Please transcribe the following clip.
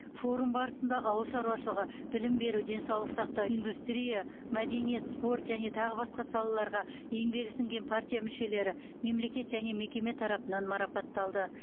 форум барысында ауыл шаруашылығы білім беру денсаулық сақтау индустрия мәдениет спорт және тағы басқа салаларға еңбегі сіңген партия мүшелері мемлекет және мекеме тарапынан марапатталды